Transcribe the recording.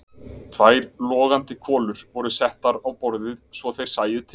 Tvær logandi kolur voru settar á borðið svo þeir sæju til.